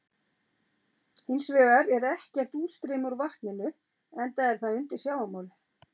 Hins vegar er ekkert útstreymi úr vatninu enda er það undir sjávarmáli.